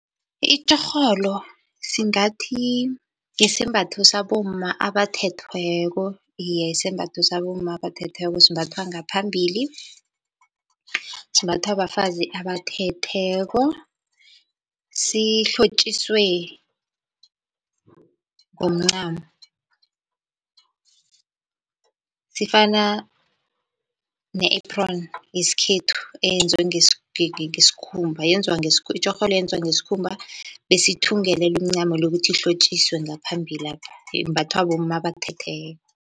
Itjhorholo singathi yisembatho sabomma abathethweko, iye yisembatho sabomma abathethweko simbathwa ngaphambili. Simbathwa bafazi abathetheko, sihlotjiswe ngomncamo, sifana ne-apron yeikhethu eyenziwe ngesikhumba yenzwa itjorholo yenziwa ngesikhumba, bese ithungelelwe umncamo lo kuthi ihlotjiswe ngaphambilapha yembathwa bomma abathethweko.